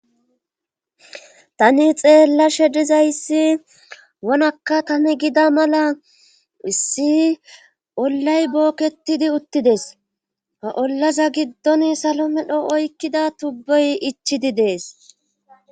tani xeella she dizayssi wonakka tami gida mala issi ollay bookketidi uttides ha ollaza giddon salomedho oykkida tubbey ichidi dees